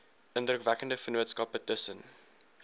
indrukwekkende vennootskappe tussen